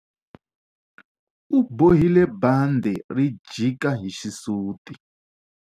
U bohile bandhi ri jika hi xisuti.